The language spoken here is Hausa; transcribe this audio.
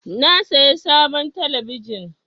Na saya sabon talabijin.